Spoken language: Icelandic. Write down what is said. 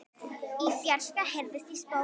Í fjarska heyrist í spóa.